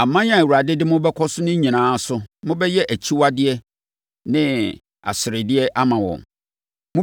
Aman a Awurade de mobɛkɔ so no nyinaa so, mobɛyɛ akyiwadeɛ ne aseredeɛ ama wɔn.